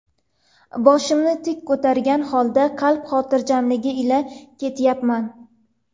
Boshimni tik ko‘targan holda, qalb xotirjamligi ila ketyapman.